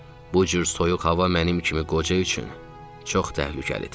Bu cür soyuq hava mənim kimi qoca üçün çox təhlükəlidir.